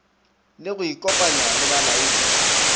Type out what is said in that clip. le go ikopanya le balaodi